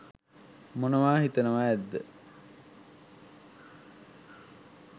මොනවා හිතනවා ඇද්ද?